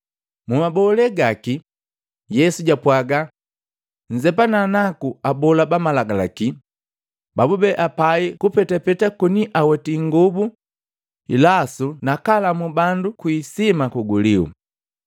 Mmabolee gaki, Yesu jaapwaga, “Nzepana naka abola ba malagalaki babube apai kupetapeta koniaweti ingobu nasu nakalamuu bandu kwi isima kuguliu.